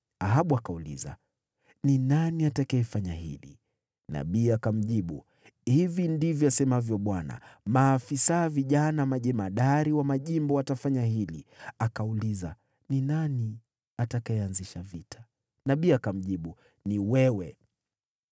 Ahabu akauliza, “Ni nani atakayefanya hili?” Nabii akamjibu, “Hivi ndivyo asemavyo Bwana : ‘Maafisa vijana majemadari wa majimbo watafanya hili.’ ” Akauliza, “Ni nani atakayeanzisha vita?” Nabii akamjibu, “Ni wewe.”